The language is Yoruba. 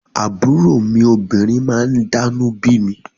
Àbúrò mi obìnrin máa ń dánú bími